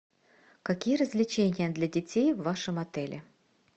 какие развлечения для детей в вашем отеле